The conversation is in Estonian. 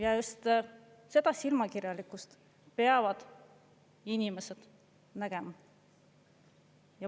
Ja just seda silmakirjalikkust peavad inimesed nägema.